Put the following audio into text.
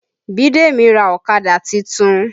Bidemi ra ọ̀kadà titun